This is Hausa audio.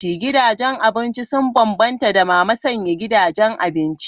Gidajen abinci sun bambanta da mama sanya gidajen abinci.